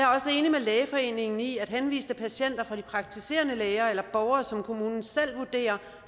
med lægeforeningen i at henviste patienter fra de praktiserende læger eller borgere som kommunen selv vurderer